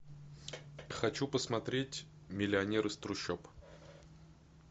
хочу посмотреть миллионер из трущоб